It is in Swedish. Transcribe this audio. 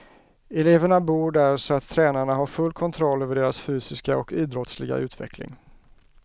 Eleverna bor där så att tränarna har full kontroll över deras fysiska och idrottsliga utveckling.